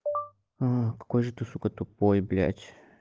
какой же ты сука тупой блять